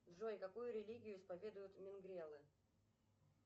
джой какую религию исповедуют мингрелы